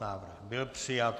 Návrh byl přijat.